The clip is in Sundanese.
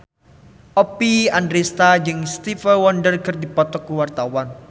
Oppie Andaresta jeung Stevie Wonder keur dipoto ku wartawan